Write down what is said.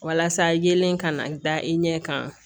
Walasa yelen kana da i ɲɛ kan